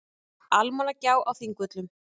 Almannagjá á Þingvöllum.